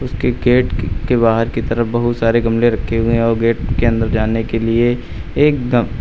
gate की के बाहर के तरफ बहुत सारे गमले रखे हुए हैं और गेट के अंदर जाने के लिए एक दम--